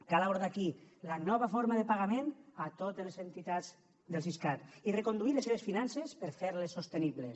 cal abordar aquí la nova forma de pagament a totes les entitats del siscat i reconduir les seves finances per a fer les sostenibles